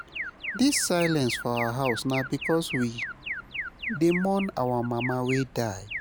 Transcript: Dis silence for our house na because we dey mourn our mama wey die.